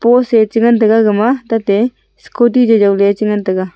post e chengan taiga gama tate scooty jajawley chengan taiga.